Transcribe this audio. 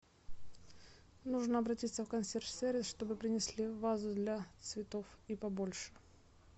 нужно обратиться в консьерж сервис чтобы принесли вазу для цветов и побольше